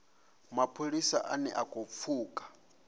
mapholisa ane a khou pfuka